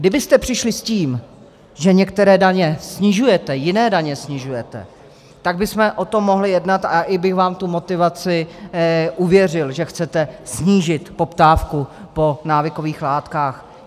Kdybyste přišli s tím, že některé daně snižujete, jiné daně snižujete, tak bychom o tom mohli jednat a i bych vám tu motivaci uvěřil, že chcete snížit poptávku po návykových látkách.